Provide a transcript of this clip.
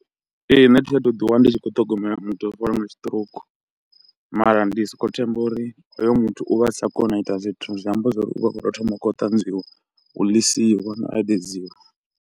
Ee nṋe thi a thu ḓi wana ndi tshi khou ṱhogomela muthu o fariwa nga stroke. Mara ndi soko themba uri hoyo muthu u vha a sa koni u ita zwithu, zwi amba zwori u vha u khou tou thoma u kho u tanzwiwa, u ḽisiwa na a eḓedziwa.